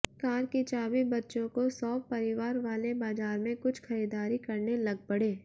car की चाबी बच्चों को सौंप परिवार वाले बाजार में कुछ खरीददारी करने लग पड़े